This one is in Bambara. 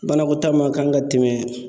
Banakɔtaa ma kan ka tɛmɛ